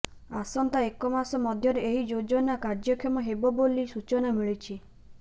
ଆସନ୍ତା ଏକ ମାସ ମଧ୍ୟରେ ଏହି ଯୋଜନା କାର୍ଯ୍ୟକ୍ଷମ ହେବ ବୋଲି ସୂଚନା ମିଳିଛି